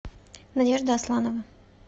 надежда асланова